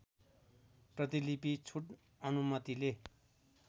प्रतिलिपि छुट अनुमतिले